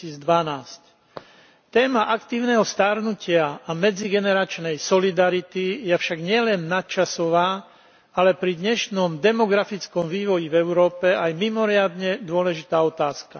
2012. Téma Aktívneho starnutia a medzigeneračnej solidarity je však nielen nadčasová, ale pri dnešnom demografickom vývoji v Európe aj mimoriadne dôležitá otázka.